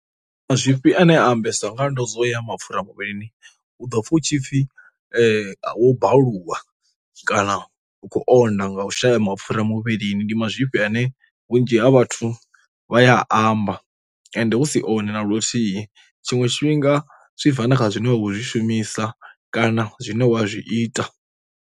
Mazwifhi a ne a ambesa nga ndo dzo ya mapfhura muvhilini, u ḓo pfha hu tshipfi wo bvalwa kana u khou onda nga u shaya mapfhura muvhilini, ndi mazwifhi nṋe vhunzhi ha vhathu vha ya a amba ende hu si one na luthihi, tshinwe tshifhinga zwi bva na kha zwine vha khou zwi shumisa kana zwine wa zwi ita.